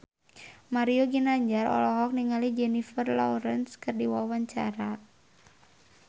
Mario Ginanjar olohok ningali Jennifer Lawrence keur diwawancara